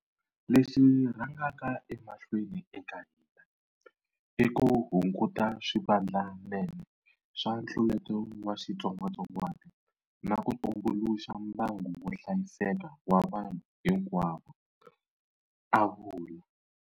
Lexi xi rhangaka emahlweni eka hina i ku hunguta swivandlanene swa ntluleto wa xitsongwatsongwana na ku tumbuluxa mbangu wo hlayiseka wa vanhu hinkwavo, a vula.